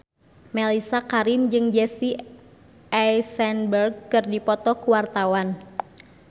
Mellisa Karim jeung Jesse Eisenberg keur dipoto ku wartawan